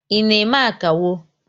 I na eme akawo?